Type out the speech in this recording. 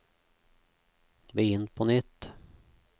begynn på nytt